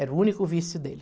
Era o único vício dele.